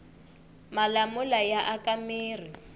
malamula ya aka mirhi